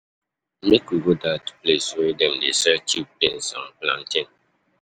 Make we go dat place wey dem dey sell cheap beans and plantain.